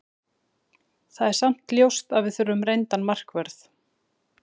Það er samt ljóst að við þurfum reyndan markvörð.